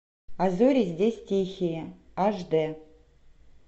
а зори здесь тихие аш дэ